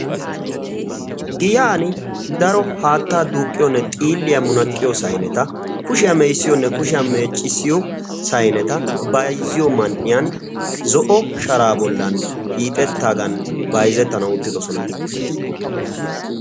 Giyan daro haattaa duuqqiyoonne xiilliyaa munaqqiyo sayneta kushiyaa me'issiyoonne kushiyaa meeccissiyo sayneta bayzziyo man"iyan zo'o sharaa bollan hiixettaagan bayzettanau uttidosona.